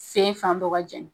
Sen fan dɔ ka jɛni